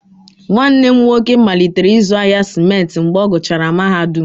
Nwanne m nwoke malitere ịzụ ahịa simenti mgbe ọ gụchara mahadum,